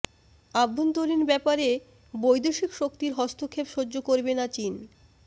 অভ্যন্তরীণ ব্যাপারে বৈদেশিক শক্তির হস্তক্ষেপ সহ্য করবে না চীন